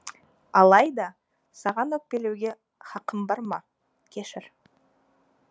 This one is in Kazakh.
алайда саған өкпелеуге қақым бар ма кешір